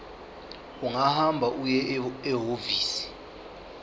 ungahamba uye ehhovisi